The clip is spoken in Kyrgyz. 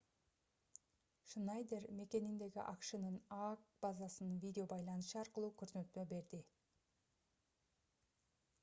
шнайдер мекениндеги акшнын аак базасынан видео байланыш аркылуу көрсөтмө берди